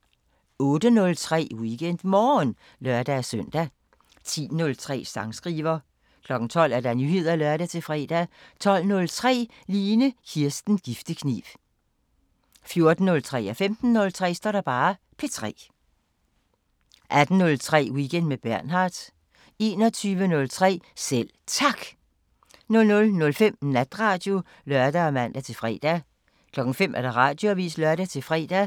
08:03: WeekendMorgen (lør-søn) 10:03: Sangskriver 12:00: Nyheder (lør-fre) 12:03: Line Kirsten Giftekniv 14:03: P3 15:03: P3 18:03: Weekend med Bernhard 21:03: Selv Tak 00:05: Natradio (lør og man-fre) 05:00: Radioavisen (lør-fre)